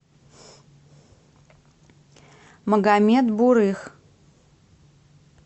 магомед бурых